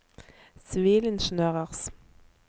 sivilingeniørers